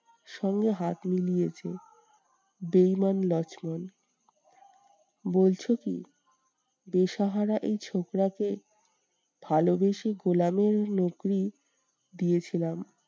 সঙ্গে হাত মিলিয়েছে বেঈমান লক্ষ্মণ। বলছো কি? বেসাহারা এই ছোকরা কে ভালোবেসে গোলামের দিয়েছিলাম।